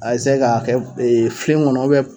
A ka kɛ filen kɔnɔ